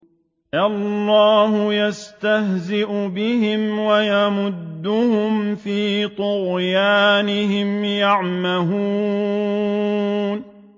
اللَّهُ يَسْتَهْزِئُ بِهِمْ وَيَمُدُّهُمْ فِي طُغْيَانِهِمْ يَعْمَهُونَ